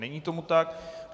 Není tomu tak.